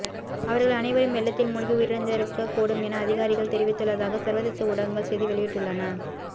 அவர்கள் அனைவரும் வெள்ளத்தில் மூழ்கி உயிரிழந்திருக்கக் கூடும் என அதிகாரிகள் தெரிவித்துள்ளதாக சர்வதேச ஊடகங்கள் செய்தி வெளியிட்டுள்ளன